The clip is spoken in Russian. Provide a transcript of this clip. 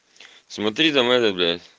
смотри там это блядь